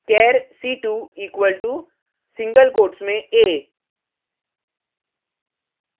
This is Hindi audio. char c2 equal to single quotes में a